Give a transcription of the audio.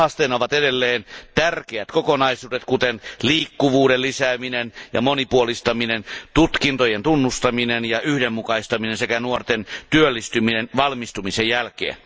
Haasteena ovat edelleen tärkeät kokonaisuudet kuten liikkuvuuden lisääminen ja monipuolistaminen, tutkintojen tunnustaminen ja yhdenmukaistaminen sekä nuorten työllistyminen valmistumisen jälkeen.